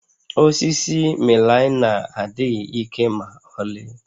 Osisi melaịna adịghị ike ma ọlị